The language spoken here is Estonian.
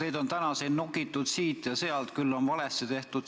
Teid on täna siin nokitud siit ja sealt, küll on seda ja teist valesti tehtud.